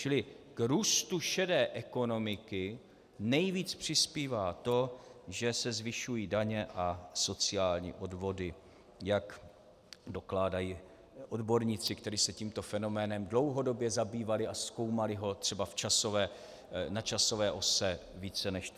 Čili k růstu šedé ekonomiky nejvíc přispívá to, že se zvyšují daně a sociální odvody, jak dokládají odborníci, kteří se tímto fenoménem dlouhodobě zabývali a zkoumali ho třeba na časové ose více než 30 let.